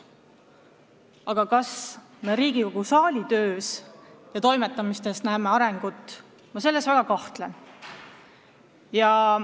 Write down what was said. Aga kas me ka Riigikogu saali töös ja toimetamistes näeme arengut, selles ma väga kahtlen.